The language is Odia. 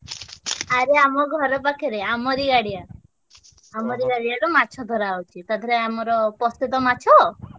ଆରେ ଆମ ଘର ପାଖରେ ଆମରି ଗାଡିଆ। ଆମରି ଗାଡିଆରୁ ମାଛ ଧରାହଉଛି। ତା ଧୀରେ ଆମର ପସୁତ ମାଛ।